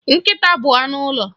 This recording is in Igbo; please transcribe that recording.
Nkịta bụ anụ ụlọ